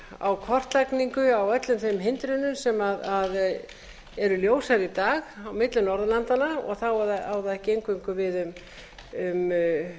á kortlagningu á öllum þeim hindrunum sem eru ljósar í dag á milli norðurlandanna þá á það ekki eingöngu við um